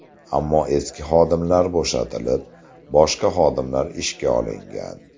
Ammo eski xodimlar bo‘shatilib, boshqa xodimlar ishga olingan.